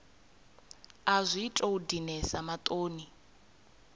a zwi tou dinesa maṱoni